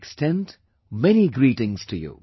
I extend many felicitations to you